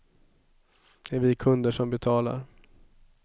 Det är vi kunder som betalar.